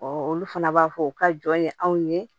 olu fana b'a fɔ u ka jɔn ye anw ye